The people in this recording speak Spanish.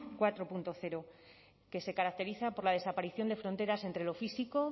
cuatro punto cero que se caracteriza por la desaparición de fronteras entre lo físico